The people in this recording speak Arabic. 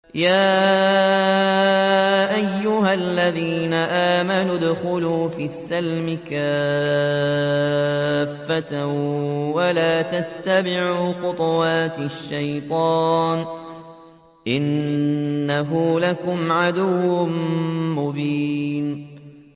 يَا أَيُّهَا الَّذِينَ آمَنُوا ادْخُلُوا فِي السِّلْمِ كَافَّةً وَلَا تَتَّبِعُوا خُطُوَاتِ الشَّيْطَانِ ۚ إِنَّهُ لَكُمْ عَدُوٌّ مُّبِينٌ